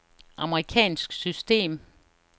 amerikansk system